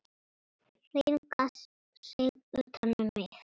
Hringa sig utan um mig.